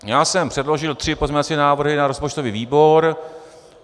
Já jsem předložil tři pozměňovací návrhy na rozpočtový výbor.